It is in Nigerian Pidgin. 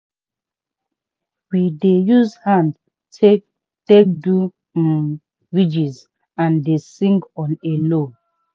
we dey use hand take take do um ridges and dey sing on a low.